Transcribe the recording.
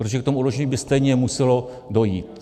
Protože k tomu oddlužení by stejně muselo dojít.